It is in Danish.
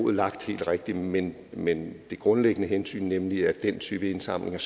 er lagt helt rigtigt men men det grundlæggende hensyn nemlig at den type indsamlinger